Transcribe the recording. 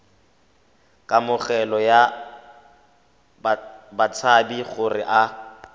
kamogelo ya batshabi gore a